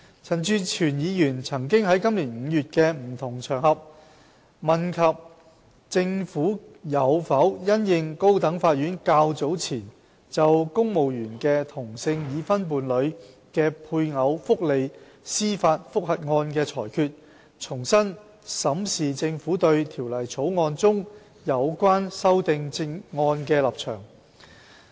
陳志全議員曾於今年5月，在不同場合問及政府有否因應高等法院較早前就公務員的同性已婚伴侶的配偶福利司法覆核案的裁決，重新審視政府對《條例草案》中有關修正案的立場。